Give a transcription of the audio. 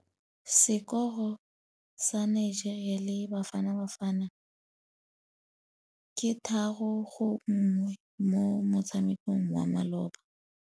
Sekôrô sa Nigeria le Bafanabafana ke 3-1 mo motshamekong wa malôba.